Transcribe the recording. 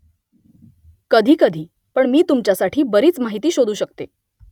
कधीकधी . पण मी तुमच्यासाठी बरीच माहिती शोधू शकते